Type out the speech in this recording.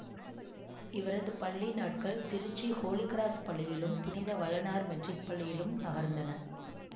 இவரது பள்ளி நாட்கள் திருச்சி ஹோலி கிராஸ் பள்ளியிலும் புனித வளனார் மெட்ரிக் பள்ளியிலும் நகர்ந்தன